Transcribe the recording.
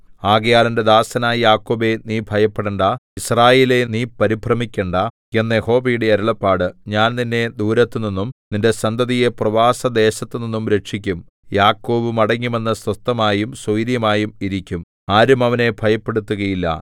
ആകയാൽ എന്റെ ദാസനായ യാക്കോബേ നീ ഭയപ്പെടേണ്ടാ യിസ്രായേലേ നീ പരിഭ്രമിക്കേണ്ടാ എന്ന് യഹോവയുടെ അരുളപ്പാട് ഞാൻ നിന്നെ ദൂരത്തുനിന്നും നിന്റെ സന്തതിയെ പ്രവാസദേശത്തുനിന്നും രക്ഷിക്കും യാക്കോബ് മടങ്ങിവന്ന് സ്വസ്ഥമായും സ്വൈരമായും ഇരിക്കും ആരും അവനെ ഭയപ്പെടുത്തുകയില്ല